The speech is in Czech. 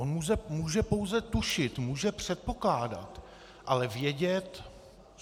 On může pouze tušit, může předpokládat, ale vědět...